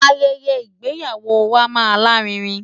Ayẹyẹ ìgbéyàwó wa máa lárinrin.